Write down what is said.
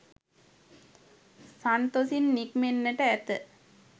සන්තොසින් නික්මෙන්නට ඇත.